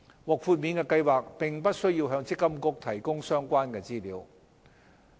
獲豁免計劃並不需要向積金局提供相關資料。